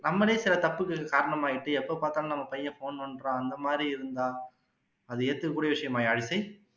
நம்மளே சில தப்புக்கு காரணமாகிட்டு எப்போ பாத்தாலும் நம்ம பையன் phone நோண்டுறான் அந்த மாதிரி இருந்தா அது ஏத்துக்க கூடிய விஷயமா யாழிசை